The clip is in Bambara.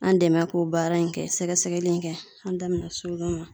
An dɛmɛ k'o baara in kɛ sɛgɛsɛgɛli in kɛ an da bena s'o ma